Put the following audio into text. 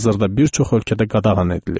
Hazırda bir çox ölkədə qadağan edilib.